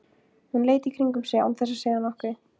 Hún leit í kringum sig án þess að segja nokkuð.